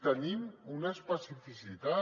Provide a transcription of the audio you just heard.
tenim una especificitat